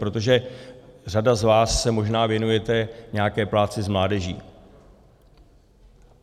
Protože řada z vás se možná věnujete nějaké práci s mládeží.